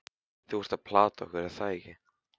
Þú ert að plata okkur, er það ekki?